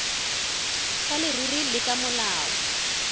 sa leruri le ka molao